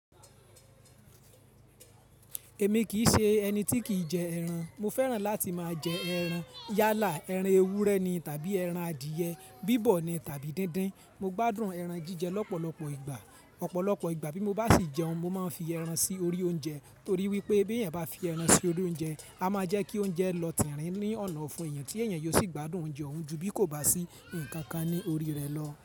Èmi kì í ṣe ẹni tí kì í jẹ ẹran. Mo fẹ́ràn láti máa jẹ ẹran, yálà ẹran ewúrẹ́ ni tàbí ẹran adìẹ, bíbọ̀ ni tàbí díndín. Mo gbádùn ẹran jíjẹ lọ́pọ̀lọpọ̀ ìgbà. Ọ̀pọ̀lọpọ̀ ìgbà bí mo bá sì jẹun, mo máa ń fi ẹran sí orí oúnjẹ torí wípé bí b'èèyàn bá fi ẹran sí orí oúnjẹ, a máa jẹ́ kí oúnjẹ lọ tìrín ní ọ̀nà ọ̀fun èèyàn, tí èèyàn yóò sì gbádùn oúnjẹ òun ju bí kò bá sí nǹkan kan ní orí rẹ̀ lọ.